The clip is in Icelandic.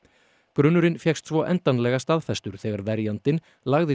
grunurinn fékkst svo endanlega staðfestur þegar verjandinn lagði